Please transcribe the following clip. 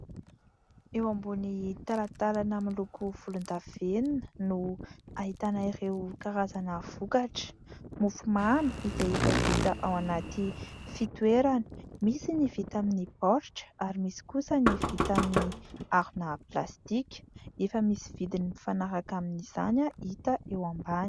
Eo ambony talantalana miloko volon-davenona no ahitana ireo karazana vokatra , mofo mamy izay efa vita ao anaty fitoerana misy ny vita amin'ny baoritra ary misy kosa ny vita amin'ny harona plastika efa misy vidin'ny mifanaraka amin'izany hita eo ambany.